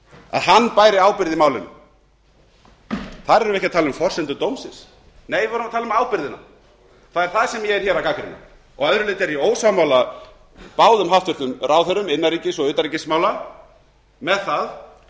að hann bæri ábyrgð í málinu þar erum við ekki að tala um forsendur dómsins nei við vorum að tala um ábyrgðina það er það sem ég er að gagnrýna að öðru leyti er ég ósammála báðum hæstvirtum ráðherrum innanríkis og utanríkismála með það